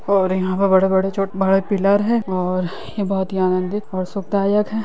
और यहाॅं पे बड़े-बड़े छोट बड़े पिलर हैं और यह बोहोत ही आन्दंदित और सुखदायक है।